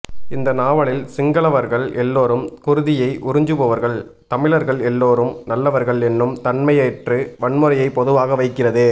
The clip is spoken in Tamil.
இந்த நாவலில் சிங்களவர்கள் எல்லோரும் குருதியை உறிஞ்சுபவர்கள் தமிழர்கள் எல்லோரும் நல்லவர்கள் என்னும் தன்மையற்று வன்முறையை பொதுவாக வைக்கிறது